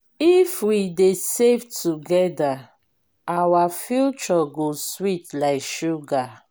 if we dey save together our future go sweet like sugar.